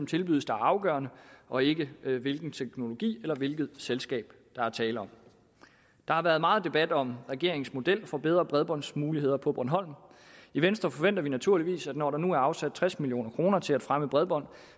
tilbydes der er afgørende og ikke hvilken teknologi eller hvilket selskab der er tale om der har været meget debat om regeringens model for bedre bredbåndsmuligheder på bornholm i venstre forventer vi naturligvis at når der nu er afsat tres million kroner til at fremme bredbånd